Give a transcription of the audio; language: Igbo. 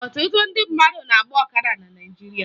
Ọtụtụ ndị mmadụ na-agba ọkada na Naịjirịa